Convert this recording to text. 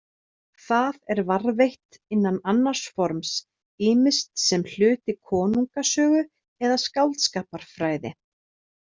Það er varðveitt innan annars forms, ýmist sem hluti konungasögu eða skáldskaparfræði.